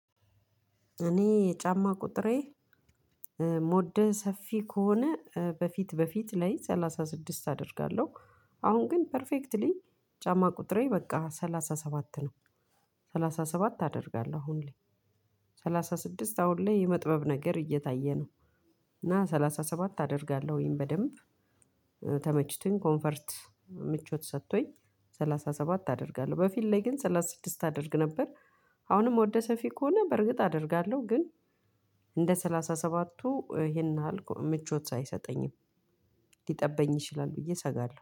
እኔ የጫማ ቁጥሬ ሞደ ሰፊ ከሆነ በፊት በፊት ላይ ሰላሳ ስድስት አደርጋለሁ። አሁን ግን ፐርፌክትሊ ጫማ ቁጥሬ በቃ ሰላሳ ሰባት ነው። ሰላሳ ሰባት አደርጋለሁ አሁን ላይ። ሰላሳ ስድስት አሁን ላይ የመጥበብ ነገር እየታየ ነው። እና ሰላሳ ሰባት አደርጋለሁኝ በደንብ። ተመችቶኝ ኮንፈርት ምቾት ሰጥቶኝ ሰላሳ ሰባት አደርጋለሁ። በፊት ላይ ግን ሰላሳ ስድስት አደርግ ነበር። አሁንም ወደ ሰፊ ከሆነ በእርግጥ አደርጋለሁ ግን። እንደ ሰላሳ ሰባቱ ይሄን ይህል ምቾት አይሰጠኝም። ሊጠበኝ ይችላል ብዬ እሰጋለሁ።